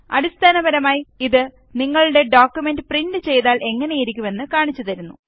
അടിസ്ഥാനപരമായി ഇത് നിങ്ങളുടെ ഡോക്കുമെന്റ് പ്രിന്റ് ചെയ്താല് എങ്ങനെയിരിക്കും എന്ന് കാണിച്ചു തരുന്നു